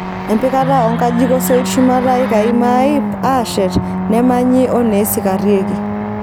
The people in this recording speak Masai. Empikata oo nkajijik osoit shumata ikai maaip aashet neemanyi oneesikarreki.